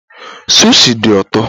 Sushi dị ụtọ